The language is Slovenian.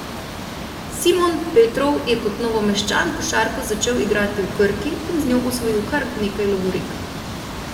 Simon Petrov je kot Novomeščan košarko začel igrati v Krki in z njo osvojil kar nekaj lovorik.